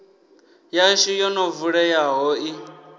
yashu yo no vuleyaho i